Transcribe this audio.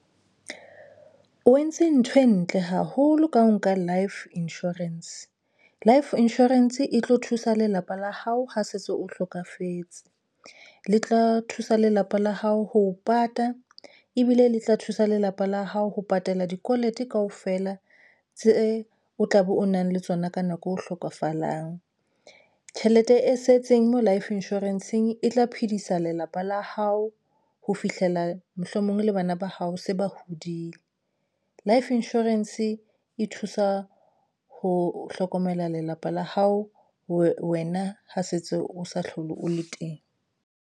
O entse ntho e ntle haholo ka ho nka Life insurance, Life insurance e tlo thusa lelapa la hao ho setso o hlokafetse le tla thusa lelapa la hao ho pata ebile le tla thusa lelapa la hao ho patala di callet kaofela tse o tlabe o nang le tsona ka nako. O hlokofalang tjhelete e setseng mo Life Insurance eng e tla phedisa lelapa la hao ho fihlela mohlomong le bana ba ba hao se ba hodile? Life Insurance e thusa ho hlokomela lelapa la hao wena ha setso o sa hlole o le teng.